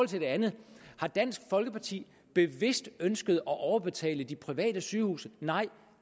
til det andet har dansk folkeparti bevidst ønsket at overbetale de private sygehuse nej